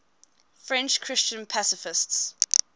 french christian pacifists